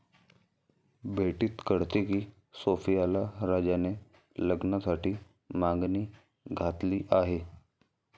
भेटीत कळते की सोफियाला राजाने लग्नासाठी मागणी घातली आहे.